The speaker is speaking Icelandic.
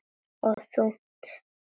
Og þungt.